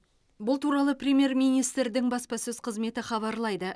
бұл туралы премьер министрдің баспасөз қызметі хабарлайды